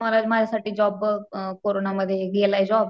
मला माझ्यासाठी जॉब बघ अ कोरोनामध्ये गेलाय जॉब.